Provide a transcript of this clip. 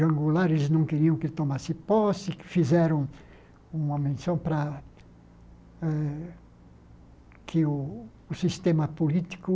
Jango Goulart, eles não queriam que tomasse posse, fizeram uma menção para eh que o sistema político